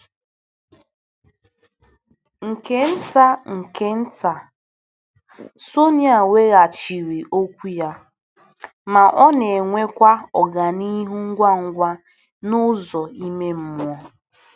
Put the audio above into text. Nke nta nke nta, Sonịa weghachiri okwu ya, ma ọ na-enwekwa ọganihu ngwa ngwa n'ụzọ ime mmụọ.